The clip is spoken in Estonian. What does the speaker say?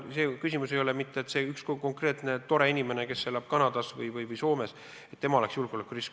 Küsimus ei ole mitte selles, et üks konkreetne tore inimene, kes elab Kanadas või Soomes, oleks julgeolekurisk.